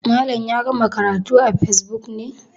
Malam ya gama karatu a facebook ne?